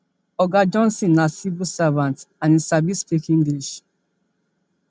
oga johnson na civil servant and e sabi speak english